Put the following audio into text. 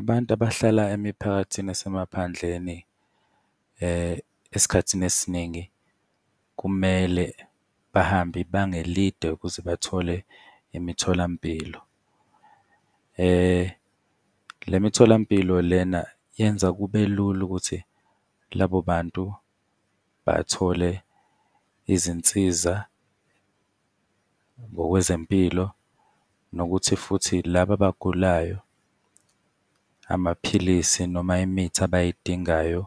Abantu abahlala emiphakathini esemaphandleni, esikhathini esiningi kumele bahambe ibanga elide ukuze bathole imitholampilo. Le mitholampilo lena yenza kube lula ukuthi labo bantu bathole izinsiza ngokwezempilo, nokuthi futhi labo abagulayo amaphilisi noma imithi abayidingayo